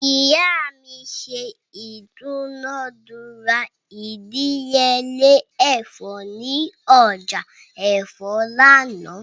Iya mi ṣe idunadura idiyele ẹfọ ni ọja ẹfọ lánà